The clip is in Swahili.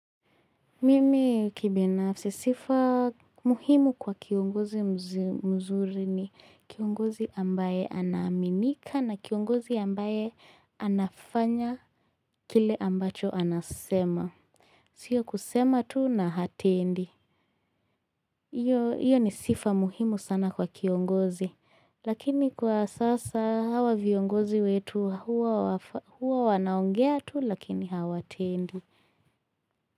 Mimi kibinafsi sifa muhimu kwa kiongozi mzuri ni kiongozi ambaye anaminika na kiongozi ambaye anafanya kile ambacho anasema. Sio kusema tu na hatendi. Iyo ni sifa muhimu sana kwa kiongozi lakini kwa sasa hawa viongozi wetu huwa wanaongea tu lakini hawa tendi.